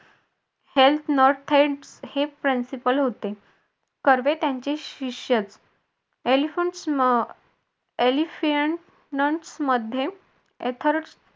हे principle होते कर्वे त्यांचे शिष्य मध्ये